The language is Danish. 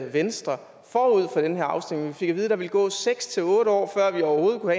venstre forud for den her afstemning vi fik at vide at der ville gå seks otte år før vi overhovedet kunne